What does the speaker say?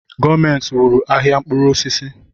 Gọọmenti wụrụ ahịa mkpụrụ osisi